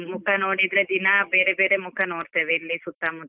ಹಾ, ಮುಖ ನೋಡಿದ್ರೆ ದಿನಾ ಬೇರೆ ಬೇರೆ ಮುಖ ನೋಡತೇವೆ ಇಲ್ಲಿ ಸುತ್ತಾ ಮುತ್ತಾ.